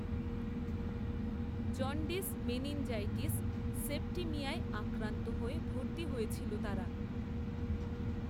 jaundice meningitis সেপ্টিমিয়ায় আক্রান্ত হয়ে ভর্তি হয়েছিল তারা